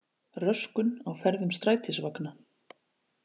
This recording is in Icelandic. Röskun á ferðum strætisvagna